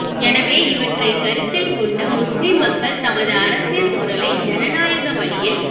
எனவே இவற்றைக் கருத்தில் கொண்டு முஸ்லிம் மக்கள் தமது அரசியல் குரலை ஜனநாயக வழியில்